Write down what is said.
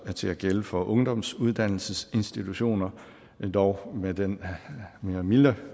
til at gælde for ungdomsuddannelsesinstitutioner dog med den mere milde